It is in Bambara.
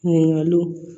Ɲininkaliw